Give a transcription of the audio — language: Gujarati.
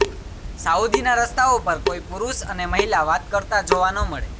સાઉદીના રસ્તાઓ પર કોઈ પુરૂષ અને મહિલા વાત કરતા જોવા ન મળે